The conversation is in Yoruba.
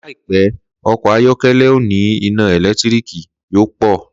Láìpẹ́, ọkọ̀ ayọ́kọ́lẹ́ oní iná ẹ̀lẹ́tíríkì yóò pọ̀